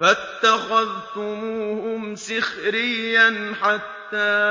فَاتَّخَذْتُمُوهُمْ سِخْرِيًّا حَتَّىٰ